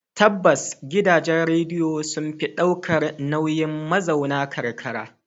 Tabbas, gidajen rediyo sun fi ɗaukar nauyin mazauna karkara.